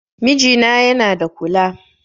Mijina yana da kula